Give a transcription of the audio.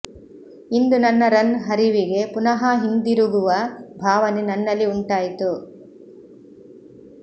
ಇಂದು ನನ್ನ ರನ್ ಹರಿವಿಗೆ ಪುನಃ ಹಿಂತಿರುಗಿರುವ ಭಾವನೆ ನನ್ನಲ್ಲಿ ಉಂಟಾಯಿತು